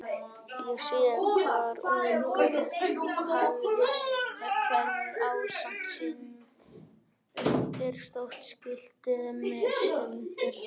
Ég sé hvar ungur faðir hverfur ásamt syni sínum undir stórt skilti sem á stendur